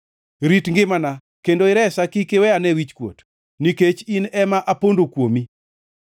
Rit ngimana kendo iresa; kik iwe ane wichkuot, nikech in ema apondo kuomi.